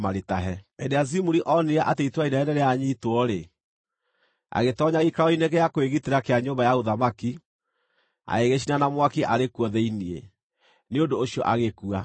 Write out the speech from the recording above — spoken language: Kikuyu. Hĩndĩ ĩrĩa Zimuri onire atĩ itũũra inene nĩrĩanyiitwo-rĩ, agĩtoonya gĩikaro-inĩ gĩa kwĩgitĩra kĩa nyũmba ya ũthamaki, agĩgĩcina na mwaki arĩ kuo thĩinĩ. Nĩ ũndũ ũcio agĩkua,